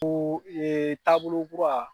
yen taabolo kura